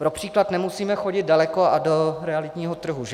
Pro příklad nemusíme chodit daleko a do realitního trhu, že?